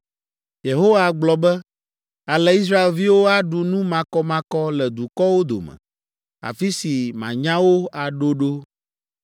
Yehowa gblɔ be, “Ale Israelviwo aɖu nu makɔmakɔ le dukɔwo dome, afi si manya wo aɖo ɖo.”